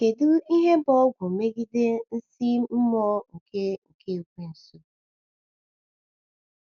Kedu ihe bụ ọgwụ megide nsí mmụọ nke nke Ekweusu?